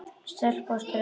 Stelpu og strák.